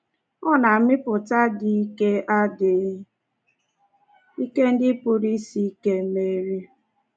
Ọ na-amụpụta adịghị ike adịghị ike ndị pụrụ isi ike meri.